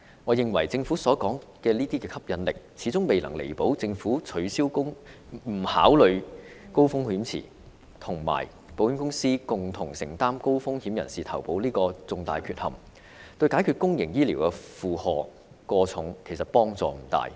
我認為政府所說的"吸引力"，始終未能彌補政府取消高風險池的這個重大缺陷，自願醫保對解決公營醫療體系負荷過重的問題因而幫助不大。